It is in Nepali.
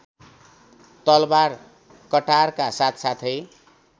तलवार कटारका साथसाथै